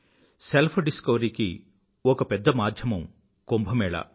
self డిస్కవరీకి ఒక పెద్ద మాధ్యమం కుంభ మేళా